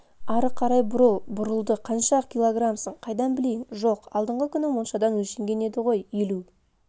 ары қарай бұрыл бұрылды қанша килограмсың қайдан білейін жоқ алдыңғы күні моншада өлшенген еді ғой елу